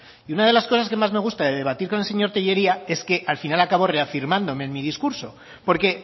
y una de las cosas que más me gusta de debatir con el señor tellería es que al final acabo reafirmándome en mi discurso porque